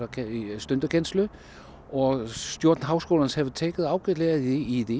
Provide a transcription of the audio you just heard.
stundakennslu og stjórn háskólans hefur tekið ágætlega í